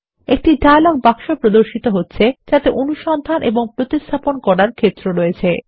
একটি ডায়লগ বাক্স প্রদর্শিত হচ্ছে যাতে অনুসন্ধান এবং প্রতিস্থাপন করার ক্ষেত্র আছে